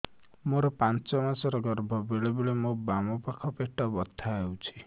ମୋର ପାଞ୍ଚ ମାସ ର ଗର୍ଭ ବେଳେ ବେଳେ ମୋ ବାମ ପାଖ ପେଟ ବଥା ହଉଛି